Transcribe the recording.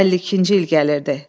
52-ci il gəlirdi.